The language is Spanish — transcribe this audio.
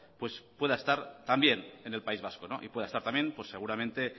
pues pueda estar también en el país vasco y pueda estar también pues seguramente